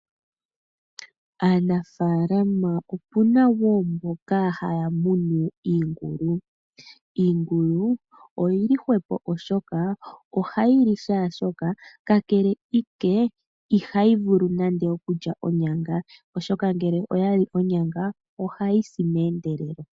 Aanafaalama opena wo mboka haya munu iingulu, iingulu oyili hwepo oshoka ohayi li shaashoka kakele ike ihayi vulu nande okulya onyanga oshoka ngele oya li onyanga ohayi si mehendelelo.